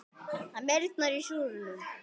Það meyrnar í súrnum.